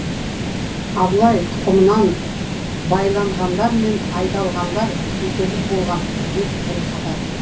абылай тұқымынан байланғандар мен айдалғандар жетерлік болған деп тіл қатады